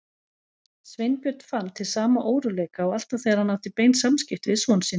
Sveinbjörn fann til sama óróleika og alltaf þegar hann átti bein samskipti við son sinn.